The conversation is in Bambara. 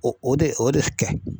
O o de o de kɛ.